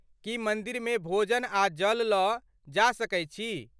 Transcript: की मन्दिरमे भोजन आ जल लऽ जा सकैत छी?